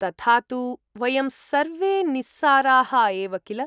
तथा तु‌ वयं सर्वे निस्साराः एव किल?